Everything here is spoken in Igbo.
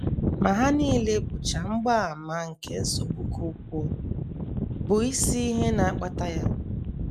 Ma ha nile bụcha mgbaàmà nke nsogbu ka ukwuu, bụ́ isi ihe na - akpata ya.